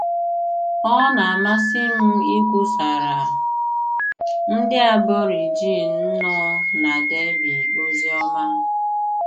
Ọ na - amasị m ikwusara ndị Aborigine nọ na Derby ozi ọma